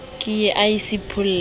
ke ye a se pholla